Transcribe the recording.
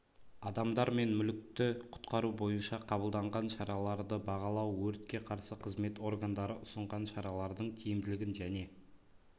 адамдар мен мүлікті құтқару бойынша қабылданған шараларды бағалау өртке қарсы қызмет органдары ұсынған шаралардың тиімділігін және